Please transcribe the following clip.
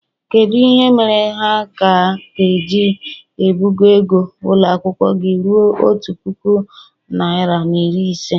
kedu ihe mere ha ka ga-eji ebugo ego ụlọ akwụkwọ gị ruo otu puku naịra na iri ise?